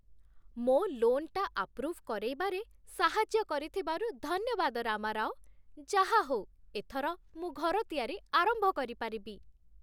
ମୋ' ଲୋନ୍‌ଟା ଆପ୍ରୁଭ୍ କରେଇବାରେ ସାହାଯ୍ୟ କରିଥିବାରୁ ଧନ୍ୟବାଦ, ରାମାରାଓ । ଯାହାହଉ, ଏଥର ମୁଁ ଘର ତିଆରି ଆରମ୍ଭ କରିପାରିବି ।